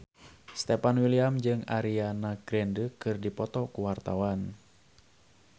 Stefan William jeung Ariana Grande keur dipoto ku wartawan